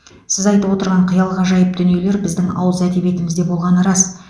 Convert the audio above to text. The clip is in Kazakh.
сіз айтып отырған қиял ғажайып дүниелер біздің ауыз әдебиетімізде болғаны рас